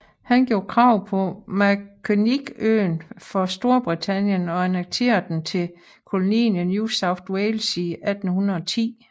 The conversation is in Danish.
Han gjorde krav på Macquarieøen for Storbritannien og annekterede den til kolonien New South Wales i 1810